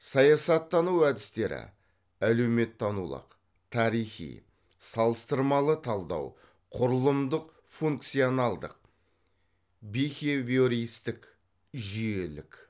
саясаттану әдістері әлеуметтанулық тарихи салыстырмалы талдау құрылымдық функционалдық бихевиористік жүйелік